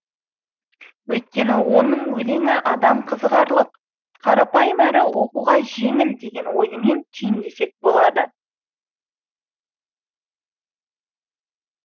өйткені оның өлеңі адам қызығарлық қарапайым әрі оқуға жеңіл деген ойымен түйіндесек болады